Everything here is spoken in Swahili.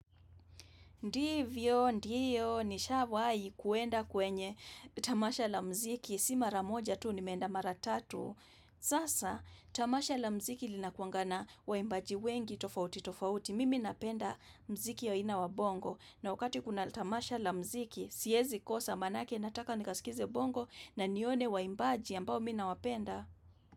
Ndivyo, ndio, nishawai kuenda kwenye tamasha la mziki, si mara moja tuu nimeenda mara tatu. Sasa, tamasha la mziki lina kuwanga na waimbaji wengi tofauti tofauti. Mimi napenda mziki aina wa bongo. Na wakati kuna tamasha la mziki, siezi kosa manake, nataka nikaskize bongo na nione waimbaji ambao mimi nawapenda.